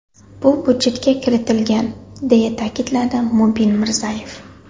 Bu budjetga kiritilgan”, deya ta’kidladi Mubin Mirzayev.